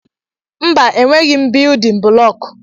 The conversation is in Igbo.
Mba, enweghị m biyudin bụlọku.